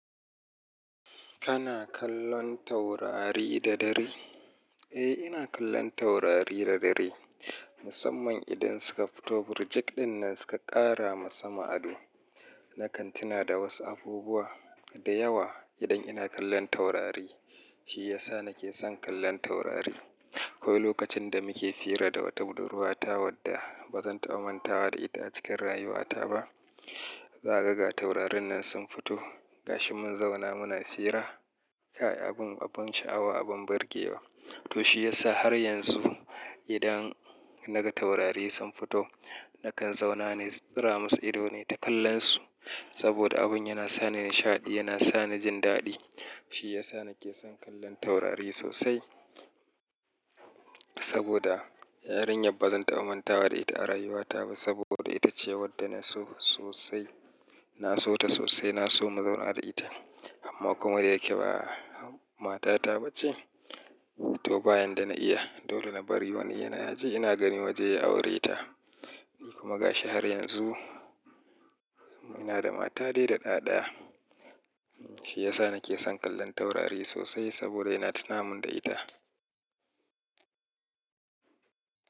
Kana kallon taurari da dare? Eh, ina kallon taurari da dare. Musamman idan suka fito, birjik ɗin nan suka ƙara masa ma'ado na kantina da wasu abubuwa da yawa idan ina kallon taurari. Shi ya sa nake son kallon taurari. Akwai lokacin da muke fira da wata budurwa ta wadda ba zan taɓa manta wa da ita a cikin rayuwata ba. Zagaga taurarin nan sun fito ga shi mun zauna muna fira. Kai abin, abin sha'awa, abin burgewa. To shi ya sa har yanzu idan naga taurari sun fito nakan zauna ne, tsira masa ido ne ta kallon su. Saboda abun yana sa ni nishaɗi, yana sa ni jin daɗi. Shi ya sa nake son kallon taurari sosai. Saboda yarinyar ba zan taɓa manta wa da ita a rayuwata ba. Saboda ita ce wadda na so sosai. Na so ta sosai, na so mu zauna da ita. Amma kuma dai yake ba mata ta ba ce. To bayan da na iya, dole na bari wani yana yaje ina gani waje ya aure ta. Ni kuma ga shi har yanzu ina da mata dai da ɗa ɗaya Shi ya sa nake son kallon taurari sosai saboda yana tunamin da ita.